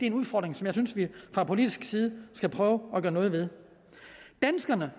en udfordring som jeg synes vi fra politisk side skal prøve at gøre noget ved danskerne